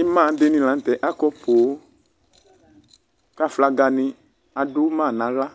Ima dini lanʋ tɛ akɔ poo kʋ aflagani adʋ ma nʋ aɣla